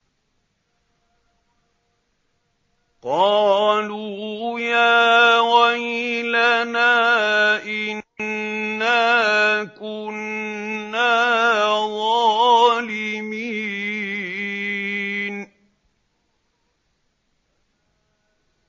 قَالُوا يَا وَيْلَنَا إِنَّا كُنَّا ظَالِمِينَ